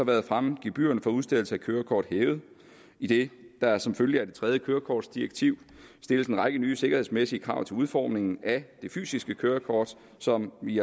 været fremme gebyrerne for udstedelse af kørekort hævet idet der som følge af det tredje kørekortdirektiv stilles en række nye sikkerhedsmæssige krav til udformningen af det fysiske kørekort som vi